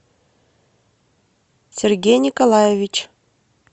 сергей николаевич